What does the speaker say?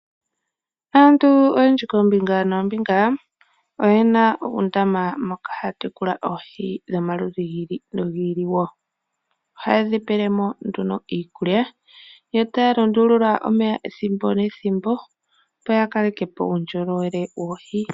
Aantu oyendji koombinga noombinga oyena uundama moka haya tekulile oohi dhomaludhi gi ili nogi ili. Ohaye dhi pele mo iikulya yo taya lundulula omeya ethimbo nethimbo opo ya kaleke po uundjolowele woohi.